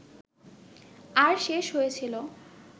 আর শেষ হয়েছিল